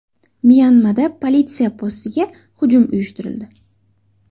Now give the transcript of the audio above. Myanmada politsiya postiga hujum uyushtirildi.